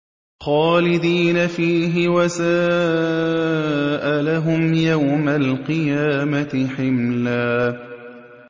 خَالِدِينَ فِيهِ ۖ وَسَاءَ لَهُمْ يَوْمَ الْقِيَامَةِ حِمْلًا